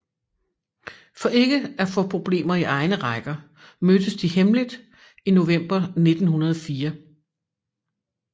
For ikke at få problemer i egne rækker mødtes de hemmeligt i november 1904